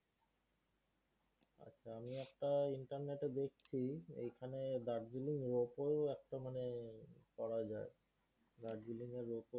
আমি একটা internet এ দেখছি এখানে darjeeling rope ও একটা মানে করা যায়। darjeeling ropoe